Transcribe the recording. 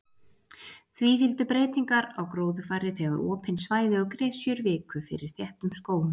Því fylgdu breytingar á gróðurfari þegar opin svæði og gresjur viku fyrir þéttum skógum.